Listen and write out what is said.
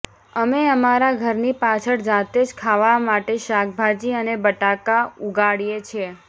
અમે અમારા ઘરની પાછળ જાતે જ ખાવા માટે શાકભાજી અને બટાકા ઉગાડીએ છીએ